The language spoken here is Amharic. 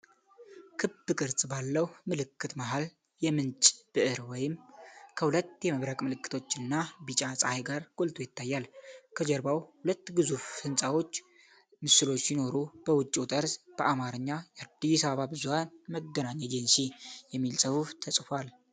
ክብ ቅርጽ ባለው ምልክት መሃል ላይ የምንጭ ብዕር (ብዕር) ከሁለት የመብረቅ ምልክቶች እና ቢጫ ጸሐይ ጋር ጎልቶ ይታያል። ከጀርባው ሁለት ግዙፍ የሕንፃዎች ምስሎች ሲኖሩ፤ በውጭው ጠርዝ በአማርኛ "የአዲስ አበባ ብዙኃን መገናኛ ኤጀንሲ" የሚል ጽሑፍ ተጽፏል።